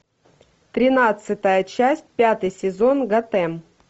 тринадцатая часть пятый сезон готэм